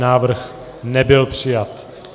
Návrh nebyl přijat.